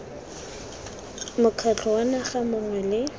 mokgatlho wa naga mongwe le